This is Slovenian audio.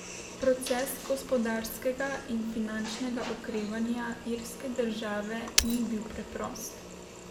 Proces gospodarskega in finančnega okrevanja irske države ni bil preprost.